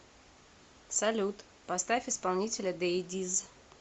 салют поставь исполнителя дэйдиз